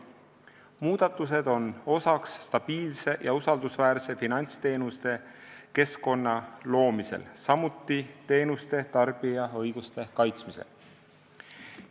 Muudatused on stabiilse ja usaldusväärse finantsteenuse keskkonna loomise, samuti teenuste tarbija õiguste kaitsmise osa.